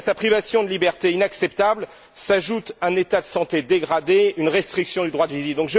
Et, à sa privation de liberté inacceptable s'ajoutent un état de santé dégradé, une restriction du droit de visite.